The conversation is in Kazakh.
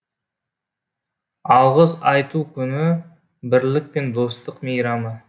алғыс айту күні бірлік пен достық мейрамы